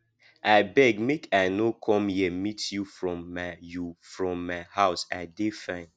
i beg make i no come here meet you from my you from my house i dey fine